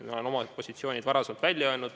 Mina olen oma positsiooni varasemalt selgitanud.